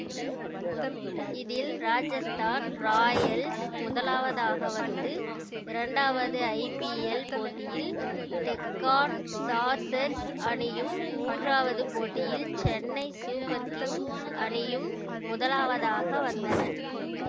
இதில் ராஜஸ்தான் ராயல்ஸ் முதலாவதாக வந்து இரண்டாவது ஐபிஎல் போட்டியில் டெக்கான் சார்சர்ஸ் அணியும் மூன்றாவது போட்டியில் சென்னை சூப்பர் கிங்ஸ் அணியும் முதலாவதாக வந்தன